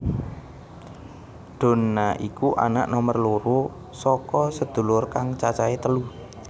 Donna iku anak nomer loro saka sedulur kang cacahe telu